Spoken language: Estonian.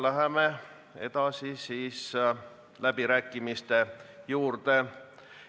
Läheme edasi läbirääkimiste juurde.